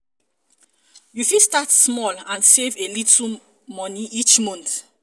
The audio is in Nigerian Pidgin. you fit start small and save a little money each month.